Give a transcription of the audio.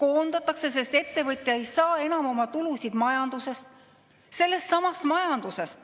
Koondatakse, sest ettevõtja ei saa enam tulu majandus, sellestsamast majandusest,